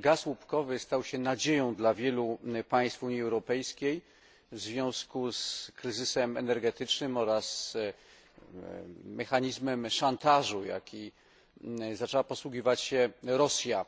Gaz łupkowy stał się nadzieją dla wielu państw Unii Europejskiej w związku z kryzysem energetycznym oraz mechanizmem szantażu, jakim zaczęła posługiwać się Rosja